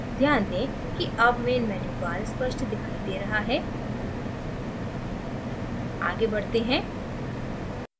ध्यान दें कि अब main menu bar स्पष्ट दिखाई दे रहा है आगे बढ़ते हैं